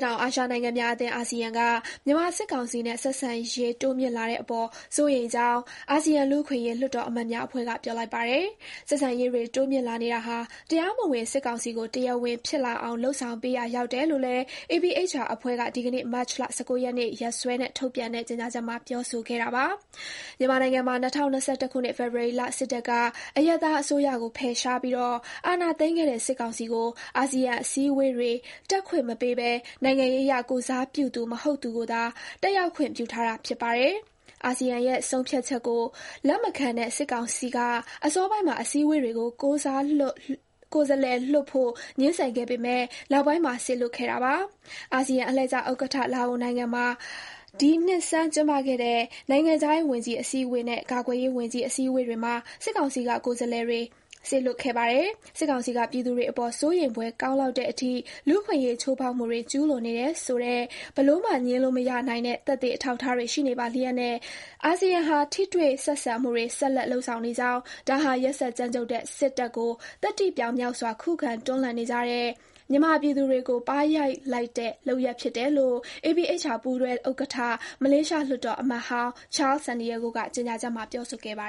တောင်အာရှနိုင်ငံများအသင်း အာဆီယံက မြန်မာစစ်ကောင်စီနဲ့ ဆက်ဆံရေး တိုးမြှင့်လာတဲ့အပေါ် စိုးရိမ်ကြောင်း အာဆီယံလူ့အခွင့်အရေး လွှတ်တော်အမတ်များအဖွဲ့က ပြောလိုက်ပါတယ်။ ဆက်ဆံရေးတွေ တိုးမြှင့်လာနေတာဟာ တရားမဝင် စစ်ကောင်စီကို တရားဝင်ဖြစ်လာအောင် လုပ်ဆောင်ပေးရာ ရောက်တယ်လို့လည်း APHR အဖွဲ့က ဒီကနေ့ မတ်လ ၁၉ ရက်နေ့ ရက်စွဲနဲ့ ထုတ်ပြန်တဲ့ ကြေညာချက်မှာ ပြောဆိုခဲ့တာပါ။ မြန်မာနိုင်ငံမှာ ၂၀၂၁ ခုနှစ် ဖေဖော်ဝါရီလ စစ်တပ်က အရပ်သားအစိုးရကို ဖယ်ရှားပြီး အာဏာသိမ်းခဲ့တဲ့ စစ်ကောင်စီကို အာဆီယံအစည်းအဝေးတွေ တက်ခွင့်မပေးဘဲ နိုင်ငံရေးအရ ကိုယ်စားပြုသူ မဟုတ်သူကိုသာ တက်ရောက်ခွင့် ပြုထားတာ ဖြစ်ပါတယ်။ အာဆီယံရဲ့ ဆုံးဖြတ်ချက်ကို လက်မခံတဲ့ စစ်ကောင်စီက အစောပိုင်းမှာ အစည်းအဝေးတွေကို ကိုယ်စားလှယ်လွှတ်ဖို့ ငြင်းဆန်ခဲ့ပေမဲ့ နောက်ပိုင်းမှာ စေလွှတ်ခဲ့တာပါ။ အာဆီယံ အလှည့်ကျဥက္ကဋ္ဌ လာအိုနိုင်ငံမှာ ဒီနှစ်ဆန်း ကျင်းပခဲ့တဲ့ နိုင်ငံခြားရေး ဝန်ကြီး အစည်းအဝေးနဲ့ ကာကွယ်ရေးဝန်ကြီး အစည်းအဝေးတွေမှာ စစ်ကောင်စီက ကိုယ်စားလှယ်တွေ စေလွှတ်ခဲ့ပါတယ်။ စစ်ကောင်စီက ပြည်သူတွေအပေါ် စိုးရိမ်ဖွယ်ကောင်းလောက်တဲ့အထိ လူ့အခွင့်အရေးချိုးဖောက်မှုတွေ ကျူးလွန်နေတယ်ဆိုတဲ့ ဘယ်လိုမှ ငြင်းလို့မရနိုင်တဲ့ သက်သေ အထောက်အထားတွေ ရှိနေပါလျက်နဲ့ အာဆီယံဟာ ထိတွေ့ ဆက်ဆံမှုတွေ ဆက်လက် လုပ်ဆောင်နေကြောင်း၊ ဒါဟာ ရက်စက် ကြမ်းကြုတ်တဲ့ စစ်တပ်ကို သတ္တိပြောင်မြောက်စွာ ခုခံ တွန်းလှန်နေကြတဲ့ မြန်မာပြည်သူတွေကို ပါးရိုက်လိုက်တဲ့ လုပ်ရပ်ဖြစ်တယ်လို့ APHR ပူးတွဲဥက္ကဋ္ဌ၊ မလေးရှား လွှတ်တော်အမတ်ဟောင်း Charles Santiago က ကြေညာချက်မှာ ပြောဆိုခဲ့တာပါ